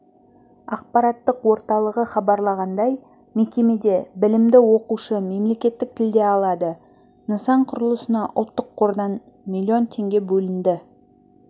ақпараттық орталығы хабарлағандай мекемеде білімді оқушы мемлекеттік тілде алады нысан құрылысына ұлттық қордан миллион теңге бөлінді